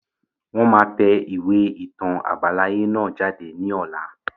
Wọn máa tẹ ìwé ìtàn àbáláyé náà jáde ní ọ̀la